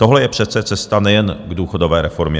Tohle je přece cesta nejen k důchodové reformě.